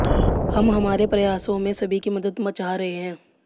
हम हमारे प्रयासों में सभी की मदद चाह रहे हैं